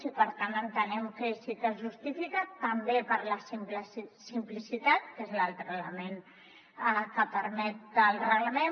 i per tant entenem que sí que es justifica també per la simplicitat que és l’altre element per què ho permet el reglament